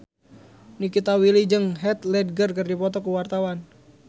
Nikita Willy jeung Heath Ledger keur dipoto ku wartawan